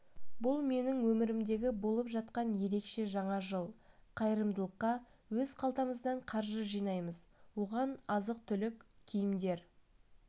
бұл менің өмірімдегі болып жатқан ерекше жаңа жыл қайрымдылыққа өз қалтамыздан қаржы жинаймыз оған азық-түлік киімдер